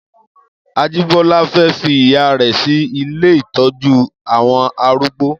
Ajibola fè fi ìyá rè si ilé itọjù awọn àrúgbó